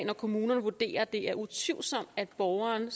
hvor kommunen vurderer at det er utvivlsomt at borgeren